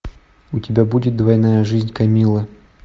у тебя будет двойная жизнь камиллы